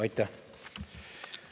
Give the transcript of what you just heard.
Aitäh!